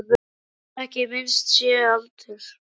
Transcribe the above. Þolir ekki að minnst sé á aldur.